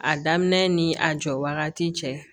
A daminɛ ni a jɔ wagati cɛ